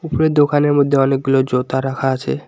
উপরে দোকানের মধ্যে অনেকগুলো জোতা রাখা আছে।